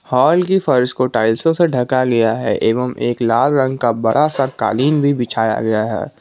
Hall की फर्श को टाइल्सो से ढका गया है एवं एक लाल रंग का बड़ा सा कालीन भी बिछाया गया है।